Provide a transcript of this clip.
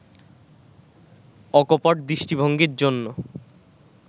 অকপট দৃষ্টিভঙ্গীর জন্য